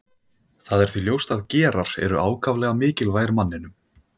Það er því ljóst að gerar eru ákaflega mikilvægir manninum.